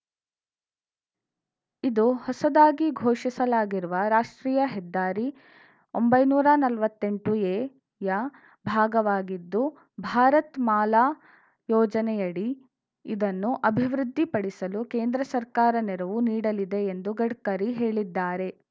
ಇದು ಹೊಸದಾಗಿ ಘೋಷಿಸಲಾಗಿರುವ ರಾಷ್ಟ್ರೀಯ ಹೆದ್ದಾರಿ ಒಂಬೈನೂರ ನಲ್ವತ್ತೆಂಟು ಎ ಯ ಭಾಗವಾಗಿದ್ದು ಭಾರತ್‌ ಮಾಲಾ ಯೋಜನೆಯಡಿ ಇದನ್ನು ಅಭಿವೃದ್ಧಿ ಪಡಿಸಲು ಕೇಂದ್ರ ಸರ್ಕಾರ ನೆರವು ನೀಡಲಿದೆ ಎಂದು ಗಡ್ಕರಿ ಹೇಳಿದ್ದಾರೆ